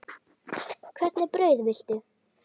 Hvernig brauð viltu?